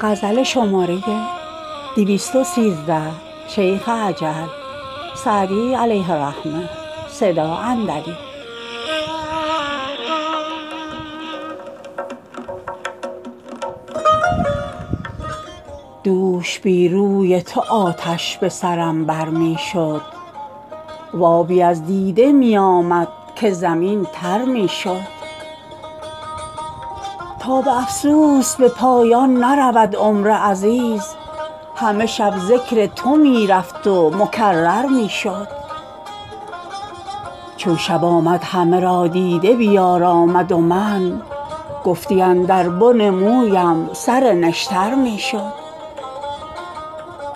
دوش بی روی تو آتش به سرم بر می شد و آبی از دیده می آمد که زمین تر می شد تا به افسوس به پایان نرود عمر عزیز همه شب ذکر تو می رفت و مکرر می شد چون شب آمد همه را دیده بیارامد و من گفتی اندر بن مویم سر نشتر می شد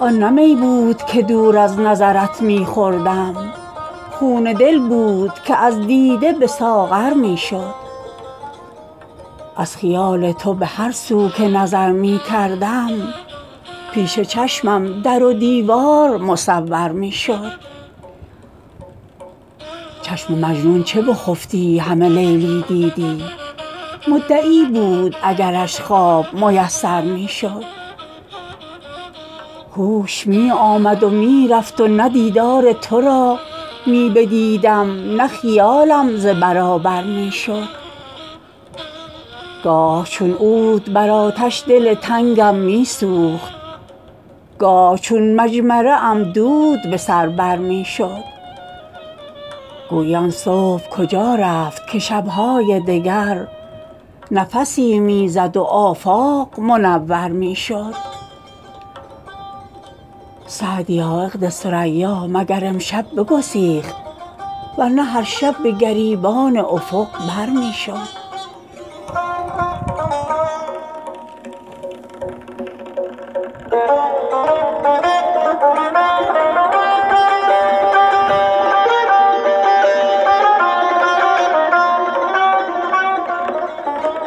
آن نه می بود که دور از نظرت می خوردم خون دل بود که از دیده به ساغر می شد از خیال تو به هر سو که نظر می کردم پیش چشمم در و دیوار مصور می شد چشم مجنون چو بخفتی همه لیلی دیدی مدعی بود اگرش خواب میسر می شد هوش می آمد و می رفت و نه دیدار تو را می بدیدم نه خیالم ز برابر می شد گاه چون عود بر آتش دل تنگم می سوخت گاه چون مجمره ام دود به سر بر می شد گویی آن صبح کجا رفت که شب های دگر نفسی می زد و آفاق منور می شد سعدیا عقد ثریا مگر امشب بگسیخت ور نه هر شب به گریبان افق بر می شد